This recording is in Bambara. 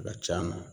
A ka c'a ma